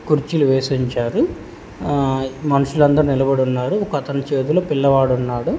కుర్చీలు వేసి ఉంచారు ఆ మనుషులందరూ నిలబడి ఉన్నారు ఒకతను చేతులో పిల్లవాడు ఉన్నాడు.